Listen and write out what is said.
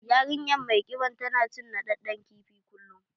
Yarinyar mai ƙiban tana cin naɗaɗɗen kifi kullum